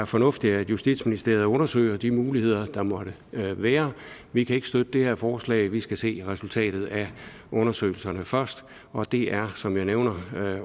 fornuftigt at justitsministeriet undersøger de muligheder der måtte være vi kan ikke støtte det her forslag vi skal se resultatet af undersøgelserne først og det er som jeg nævnte